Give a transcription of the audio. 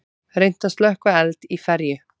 Reynt að slökkva eld í ferju